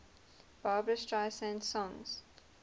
barbra streisand songs